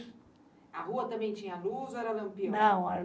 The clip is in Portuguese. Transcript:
A rua também tinha luz ou era lampião? Não